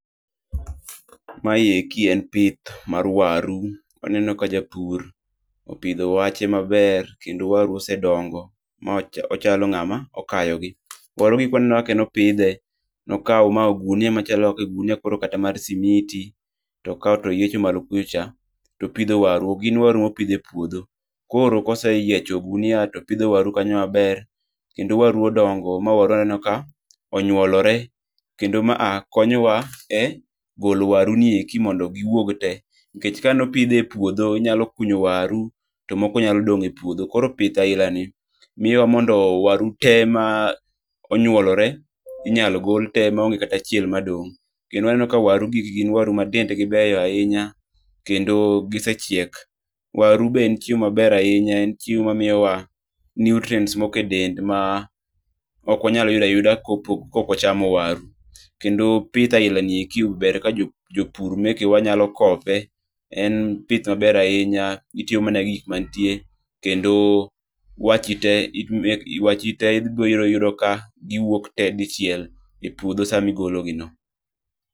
Ma eki en pith mar waru. Aneno ka japur opidho wache maber kendo waru osedongo mochalo ng'ama okayogi. Warugi kwaneno kaka nopidhe, nokawo ogunia koro kata mar simiti, to okawo to oyiecho malo kucha, topidhe waru. Ok gin waru mopidh e puodho. Koro koseyiecho ogunia to opidhe waru kanyo maber, kendo waru odongo ma waru waneno ka onyuolore, kendo ma a konyo wa e golo waru ni eki mondo giwuog te nikech kane opidhe e puodho, inyalo kunyo waru to moko nyalo dong' e puodho. Koro pith ailani miwa mondo waru te ma onyuolore inyalo gol te maonge kata achiel madong'. Kendo waneno ka waru gi gin waru ma dendgi beyo ahinya. Kendo gisechiek. Waru be en chiemo maber, en chiemo mamiyowa nutrients moko e del ma ok wanyalo yudo ayudo kok wachamo waru. Kendo pith ailani ber ahinya ka jopur mekewa nyalo kope. En pith maber ahinya. Gitiyo mana gi gik manitie. Kendo wachi ibiro yudo ka giwuok te dichiel e puodho sami golo gino.